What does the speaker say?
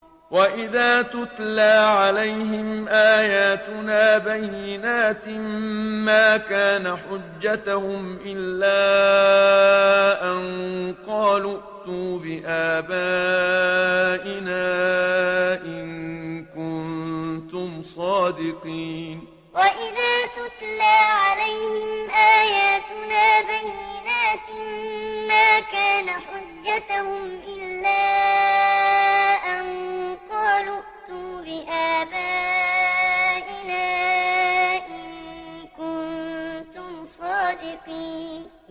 وَإِذَا تُتْلَىٰ عَلَيْهِمْ آيَاتُنَا بَيِّنَاتٍ مَّا كَانَ حُجَّتَهُمْ إِلَّا أَن قَالُوا ائْتُوا بِآبَائِنَا إِن كُنتُمْ صَادِقِينَ وَإِذَا تُتْلَىٰ عَلَيْهِمْ آيَاتُنَا بَيِّنَاتٍ مَّا كَانَ حُجَّتَهُمْ إِلَّا أَن قَالُوا ائْتُوا بِآبَائِنَا إِن كُنتُمْ صَادِقِينَ